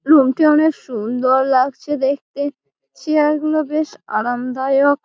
Room টা অনেক সুন্দর লাগছে দেখতে। চেয়ার গুলো বেশ আরামদায়ক।